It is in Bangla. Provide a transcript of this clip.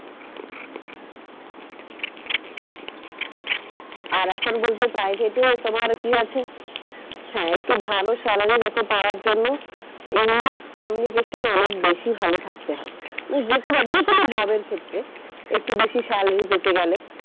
আর এখন বলতে private এ তোমার কি আছে? হ্যাঁ একটু ভালো salary লোকে পাওয়ার জন্য english communication অনেক বেশি ভালো থাকতে হবে। ওই যে কোনো যে কোনো job এর ক্ষেত্রে একটু বেশি salary পেতে গেলে।